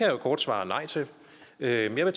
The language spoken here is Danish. jo kort svare nej til jeg